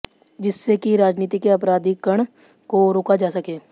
जिससे कि राजनीति के अपराधिकरण को रोका जा सके